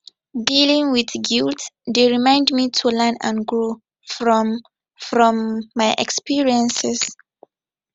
dealing with guilt dey remind me to learn and grow from from my experiences